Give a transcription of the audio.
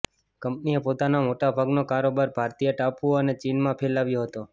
કંપનીએ પોતાનો મોટાભાગનો કારોબાર ભારતીય ટાપુઓ અને ચીનમાં ફેલાવ્યો હતો